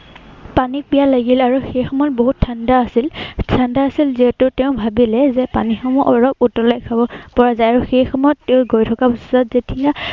পানী পিয়াহ লাগিল। আৰু সেই সময়ত বহুত ঠাণ্ডা আছিল। ঠাণ্ডা আছিল যিহেতু তেওঁ ভাবিলে যে পানীসমূহ অলপ উতলাই খাব পৰা যা্য়। আৰু সেই সময়ত তেওঁ গৈ থকা অৱস্থাত যেতিয়া